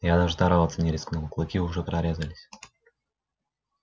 я даже здороваться не рискнул клыки уже прорезались